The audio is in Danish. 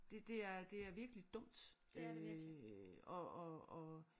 Det det er det er virkelig dumt øh og og og